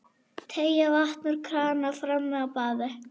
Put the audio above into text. Teygar vatn úr krana frammi á baði.